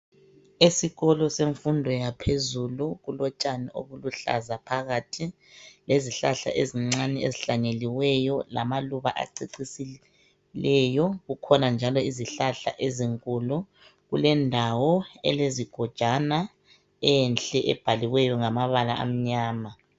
Esikolo sefundo yaphezulu kulotshani oluluhlaza phakathi, le zihlahla ezincane ezihlanyeliweyo, lamaluba acecisileyo. kukhona njalo zihlahla zinkulo. Kulendawo elezigojana enhle ebhaliweyo ngamabala amnyama.